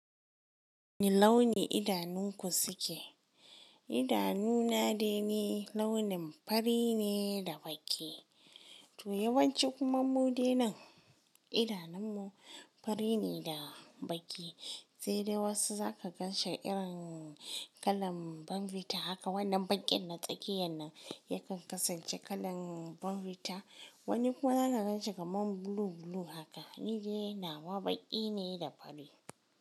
Wane launi idanunku suke? Idanuna dai ne launin fari ne da baƙi. To yawanci kuma mu dai nan idanunmu fari ne da baƙi. Sai dai wasu za ka gan shi irin kalan bonvita haka. Wannan baƙin na tsakiyar nan yakan kasance kalan bonvita. Wani kuma ana gan shi kaman blue blue haka. Ni dai nawa baƙi ne da fari.